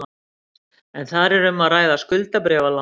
Er þar um að ræða skuldabréfalán